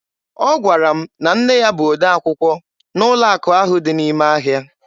Ọ gwara m na nne ya bụ odee akwụkwọ n'ụlọ akụ ahụ dị n'ime ahịa